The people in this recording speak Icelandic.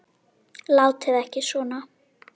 Látið ekki svona.